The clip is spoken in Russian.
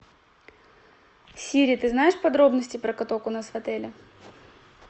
сири ты знаешь подробности про каток у нас в отеле